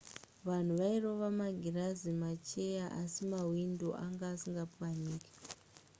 vanhu vairova magirazi nemacheya asi mahwindo anga asingapwanyike